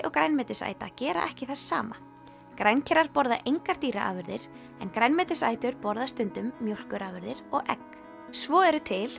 og grænmetisæta gera ekki það sama borða engar dýraafurðir en grænmetisætur borða stundum mjólkurafurðir og egg svo eru til